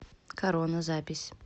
корона запись